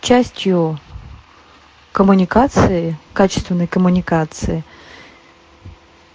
частью коммуникации качественный коммуникации